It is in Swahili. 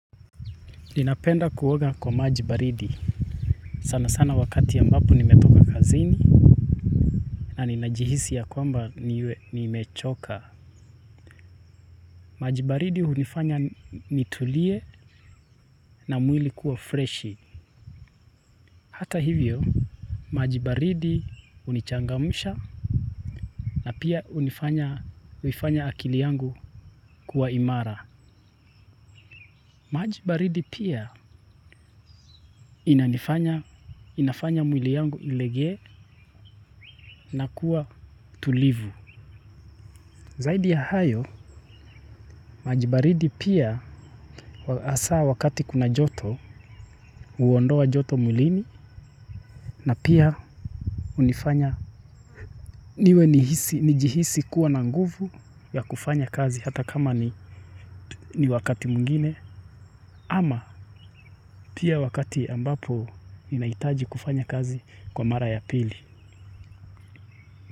Ninapenda kuoga kwa maji baridi. Sana sana wakati ambapo nimetoka kazini na ninajihisi ya kwamba nimechoka. Maji baridi hunifanya nitulie na mwili kuwa fresh. Hata hivyo maji baridi hunichangamsha na pia hunifanya huifanya akili yangu kuwa imara. Maji baridi pia inafanya mwili yangu ilegee na kuwa tulivu. Zaidi ya hayo maji baridi pia asa wakati kuna joto huondoa joto mwilini na pia hunifanya niwe nijihisi kuwa na nguvu ya kufanya kazi hata kama ni wakati mwengine ama pia wakati ambapo ninahitaji kufanya kazi kwa mara ya pili.